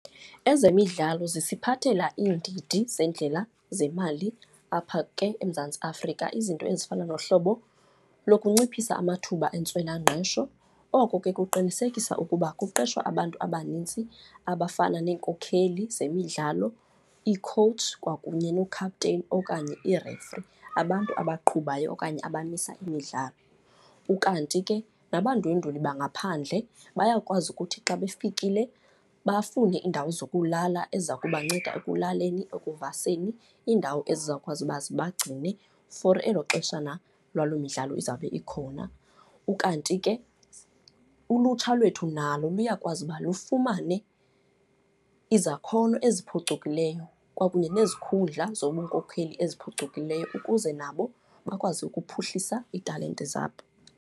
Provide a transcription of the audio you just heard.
Ezemidlalo zisiphathela iindidi zeendlela zemali apha ke eMzantsi aAfrika, izinto ezifana nohlobo lokunciphisa amathuba entswelangqesho. Oko ke kuqinisekisa ukuba kuqeshwa abantu abanintsi abafana neenkokheli zemidlalo ii-coach kwakunye nookhaputeyini okanye ii-referee, abantu abaqhubayo okanye abamisa imidlalo. Ukanti ke nabandwendweli bangaphandle bayakwazi ukuthi xa befikile bafune iindawo zokulala eziza kubanceda ekulaleni, ekuvaseni, iindawo ezizawukwazi uba zibagcine for elo xeshana lwalo midlalo izawube ikhona. Ukanti ke ulutsha lwethu nalo luyakwazi uba lufumane izakhono eziphucukileyo kwakunye nezikhundla zobunkokheli eziphucukileyo ukuze nabo bakwazi ukuphuhlisa iitalente zabo.